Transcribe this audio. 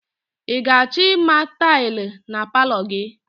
I ga-achọ ịma tailị na palọ gị?